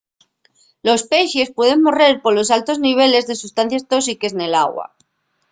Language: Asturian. los pexes pueden morrer polos altos niveles de sustancies tóxiques nel agua